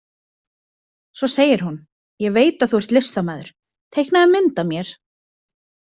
Svo segir hún: Ég veit að þú ert listamaður, teiknaðu mynd af mér!